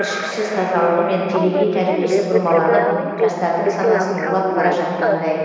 кіршіксіз тазалығы мен телегей тәрбиесі бұрмаланып жастардың санасын улап бара жатқандай